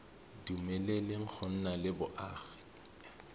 dumeleleng go nna le boagi